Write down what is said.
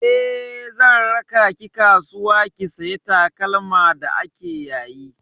Eh, zan raka ki kasuwa ki saya takalma da ake yayi.